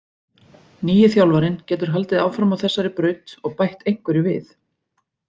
Nýi þjálfarinn getur haldið áfram á þessari braut og bætt einhverju við.